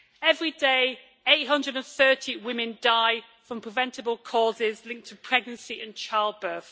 Every day, 830 women die from preventable causes linked to pregnancy and childbirth.